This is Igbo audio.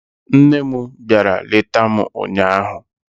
Nne m bịara leta m ụnyaahụ